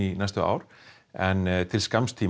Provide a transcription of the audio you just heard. næstu ár en til skamms tíma